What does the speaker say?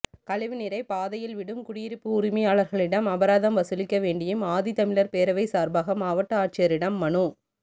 கழிவு நீரை பாதையில் விடும் குடியிருப்பு உரிமையாளர்களிடம் அபராதம் வசூலிக்க வேண்டியும் ஆதித்தமிழர் பேரவை சார்பாக மாவட்ட ஆட்சியரிடம் மனு